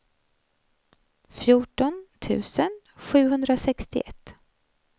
fjorton tusen sjuhundrasextioett